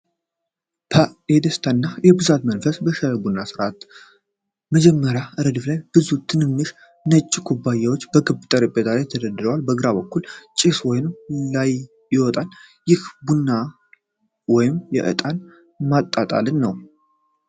ፐ የደስታና የብዛት መንፈስ በሻይ/ቡና ሥነ ሥርዓት። በመጀመሪያው ረድፍ ላይ ብዙ ትንንሽ ነጭ ኩባያዎች በክብ ጠረጴዛ ላይ ተደርድረዋል። በግራ በኩል ጭስ ወደ ላይ ይወጣል፤ ይህም የቡና ወይም የእጣን ማጣጣልን ነው።